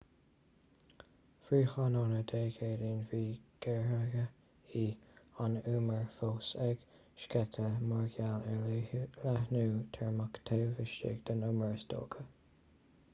faoi thráthnóna dé céadaoin bhí gaothairí an umair fós ag sceitheadh mar gheall ar leathnú teirmeach taobh istigh den umar is dócha